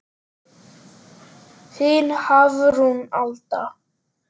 Þín Hafrún Alda.